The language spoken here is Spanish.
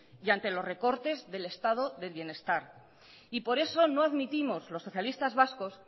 y ante los recortes del estado del bienestar y por eso no admitimos lo socialistas vascos